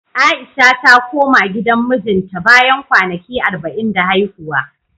A'isha ta koma gidan mijinta, bayan kwanaki arba'in da haihuwa.